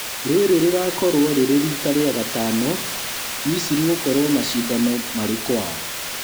Rĩrĩ rĩgũkorwo rĩrĩ rita rĩa gatano Misiri gũkorwo macindano marĩ kwao